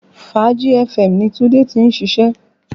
Fàájì FM ni Tunde tí ń ṣiṣẹ́